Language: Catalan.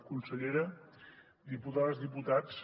consellera diputades i diputats